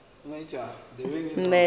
ge motho a ka hlwa